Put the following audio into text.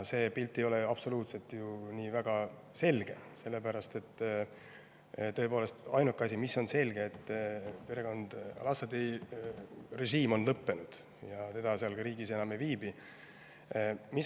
See pilt ei ole absoluutselt ju nii väga selge, sellepärast et tõepoolest, ainuke selge asi on see, et Bashshār al-Asadi režiim on lõppenud ja ta seal riigis enam ei viibi.